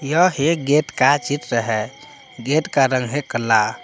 यह गेट का चित्र है गेट का रंग है काला।